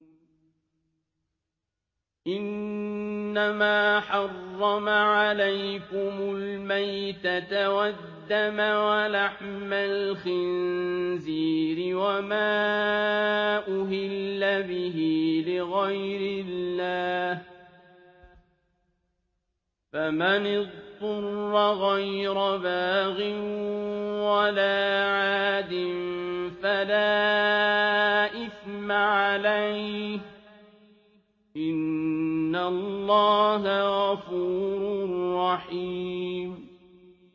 إِنَّمَا حَرَّمَ عَلَيْكُمُ الْمَيْتَةَ وَالدَّمَ وَلَحْمَ الْخِنزِيرِ وَمَا أُهِلَّ بِهِ لِغَيْرِ اللَّهِ ۖ فَمَنِ اضْطُرَّ غَيْرَ بَاغٍ وَلَا عَادٍ فَلَا إِثْمَ عَلَيْهِ ۚ إِنَّ اللَّهَ غَفُورٌ رَّحِيمٌ